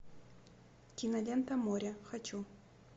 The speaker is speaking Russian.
кинолента море хочу